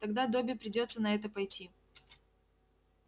тогда добби придётся на это пойти